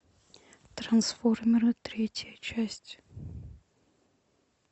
трансформеры третья часть